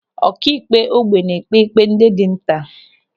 Ọkaikpe ógbè na-ekpe ikpe ndị dị nta.